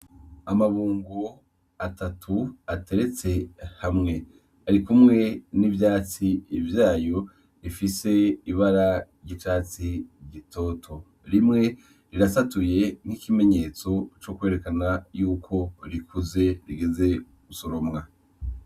Amabungo atatu ateretse hamwe. Arikumwe n’ivyatsi vyayo bifise ibara ry’icatsi gitoto. Rimwe rirasatuye nk’ikimenyetso co kwerekana ko rikuze rigeze gusoromwa.